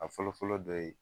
A fɔlɔ fɔlɔ dɔ ye